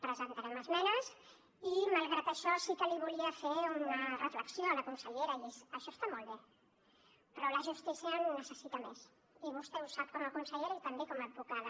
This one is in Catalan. presentarem esmenes i malgrat això sí que li volia fer una reflexió a la consellera i és això està molt bé però la justícia en necessita més i vostè ho sap com a consellera i també com a advocada